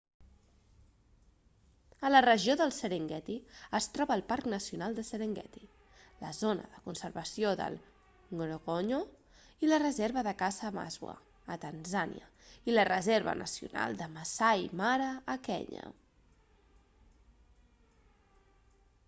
a la regió del serengeti es troba el parc nacional del serengeti la zona de conservació de ngorongoro i la reserva de caça de maswa a tanzània i la reserva nacional de maasai mara a kenya